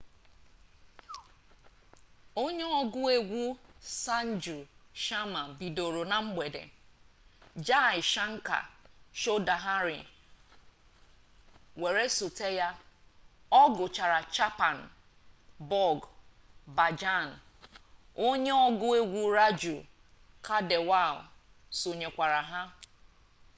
onye ọgụ egwu sanju sharma bidoro na mgbede jai shankar choudhary were sote ya ọ gụkwara chhappan bhog bhajan onye ọgụ egwu raju khandelwal sonyekwara ya